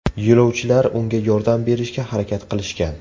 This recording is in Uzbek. Yo‘lovchilar unga yordam berishga harakat qilishgan.